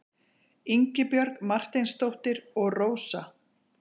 Ingibjörg Marteinsdóttir og Rósa.